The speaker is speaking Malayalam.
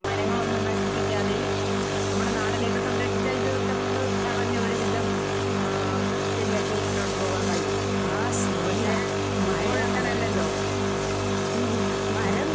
മരങ്ങളൊന്നും നശിപ്പിക്കാതെയും നമ്മടെ നാടിനെയൊക്കെ സംരക്ഷിച്ചാ ഇതൊക്കെ നമുക്ക് തടഞ്ഞ് ഒരു വിധം ആഹ് ശെരിയാക്കി മുന്നോട്ട് പോകാൻ കഴിയും. പക്ഷെ ഇപ്പോഴങ്ങനെയല്ലല്ലോ. ഉം.